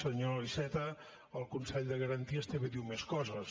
senyor iceta el consell de garanties també diu més coses